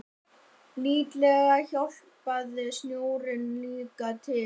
Líklega hjálpaði snjórinn líka til.